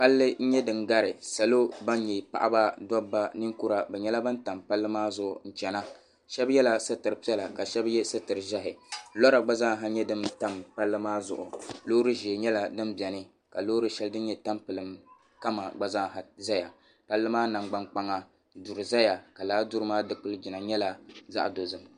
Palli n-nyɛ din gari salo ban nyɛ paɣiba dɔbba ninkura bɛ nyɛla ban tam palli maa zuɣu n-chana shɛba yɛla sutir' piɛla ka shɛba ye sutir' ʒɛhi lɔra gba zaasa nyɛla din tam palli maa zuɣu loori ʒee nyɛla din beni ka loori shɛli din nyɛ tamlim kama gba zaasa zaya palli maa nangbaŋkpaŋa duri zaya ka lala duri maa dikiligina nyɛla zaɣ' dozim